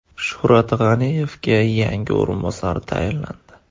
Shuhrat G‘aniyevga yangi o‘rinbosar tayinlandi.